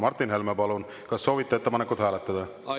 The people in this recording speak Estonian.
Martin Helme, palun, kas soovite ettepanekut hääletada?